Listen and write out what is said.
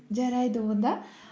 жарайды онда